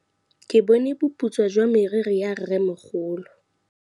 Ke bone boputswa jwa meriri ya rrêmogolo.